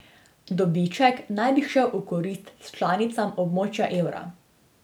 Dobiček naj bi šel v korist članicam območja evra.